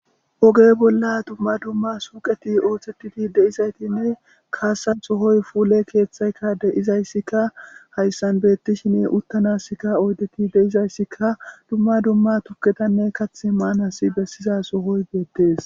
Oge bolla duma duma suyqeti oosetida dizayti kasa sohoy pulesotika de'izaysika haysan beetishin utanasika oydeti de'izaysika duma duma tuketane kathi maabas besiza sohoy beetes.